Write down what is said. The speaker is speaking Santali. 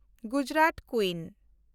ᱜᱩᱡᱽᱨᱟᱛ ᱠᱩᱭᱤᱱ